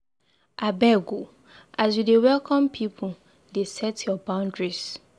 Abeg o, as you dey welcome pipu, dey set your boundaries.